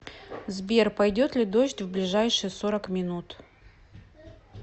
сбер пойдет ли дождь в ближайшие сорок минут